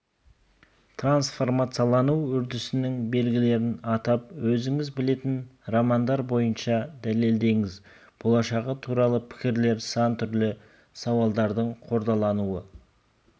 транцформациялану үрдісінің белгілерін атап өзіңіз білетін романдар бойынша дәлелдеңіз болашағы туралы пікірлер сан түрлі сауладардың қордалануы